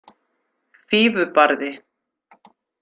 Fífubarði